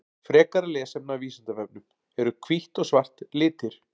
Frekara lesefni af Vísindavefnum: Eru hvítt og svart litir?